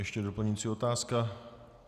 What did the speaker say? Ještě doplňující otázka.